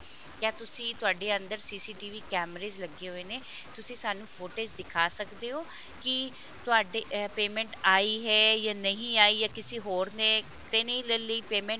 ਕਿਆ ਤੁਸੀ ਤੁਹਾਡੇ ਅੰਦਰ initialCCTVinitial ਕੈਮਰੇਜ਼ ਲੱਗੇ ਹੋਏ ਨੇ ਤੁਸੀ ਸਾਨੂੰ footage ਦਿਖਾ ਸਕਦੇ ਹੋ ਕਿ ਤੁਹਾਡੇ payment ਆਈ ਹੈ ਜਾਂ ਨਹੀਂ ਆਈ ਜਾਂ ਕਿਸੀ ਹੋਰ ਨੇ ਨੇ ਤਾਂ ਨਹੀਂ ਲੈ ਲਈ payment